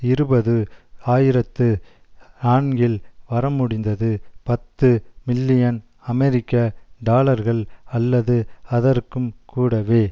இருபது ஆயிரத்து நான்கில் வரமுடிந்தது பத்து மில்லியன் அமெரிக்க டாலர்கள் அல்லது அதற்கும் கூடவே